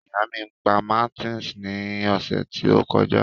Ìyá mí pa máńtìs ní ọ̀sẹ̀ tó kọjá